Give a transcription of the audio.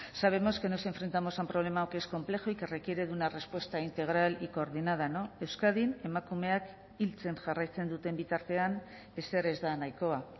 sabemos que nos enfrentamos a un problema que es complejo y que requiere de una respuesta integral y coordinada euskadin emakumeak hiltzen jarraitzen duten bitartean ezer ez da nahikoa